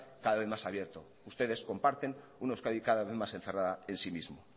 cada vez más abierto ustedes comparten una euskadi cada vez más encerrada en sí misma